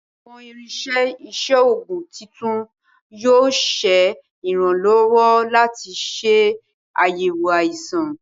Awọn irinṣẹ iṣoogun titun yoo ṣe iranlọwọ lati ṣe ayẹwo aisan